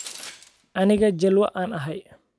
Anigaa jalwaa aan ahay